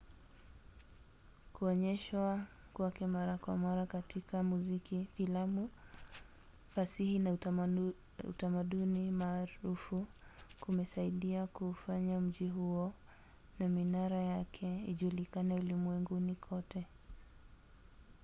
kuonyeshwa kwake mara kwa mara katika muziki filamu fasihi na utamaduni maarufu kumesaidia kuufanya mji huo na minara yake ijulikane ulimwenguni kote